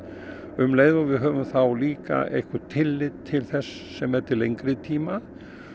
um leið og við höfum þá líka eitthvert tillit til þess sem er til lengri tíma